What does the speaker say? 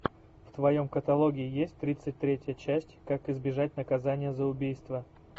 в твоем каталоге есть тридцать третья часть как избежать наказания за убийство